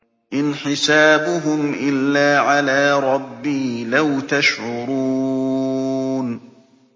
إِنْ حِسَابُهُمْ إِلَّا عَلَىٰ رَبِّي ۖ لَوْ تَشْعُرُونَ